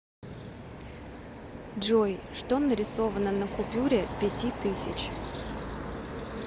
джой что нарисовано на купюре пяти тысяч